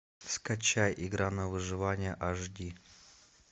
скачай игра на выживание аш ди